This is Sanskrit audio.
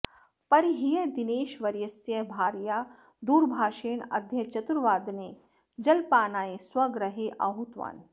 परह्यः दिनेशवर्यस्य भार्या दूरभाषेण अद्य चतुर्वादने जलपानाय स्वगृहे आहूतवान्